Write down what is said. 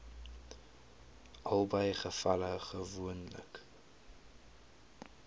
albei gevalle gewoonlik